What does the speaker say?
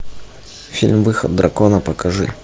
фильм выход дракона покажи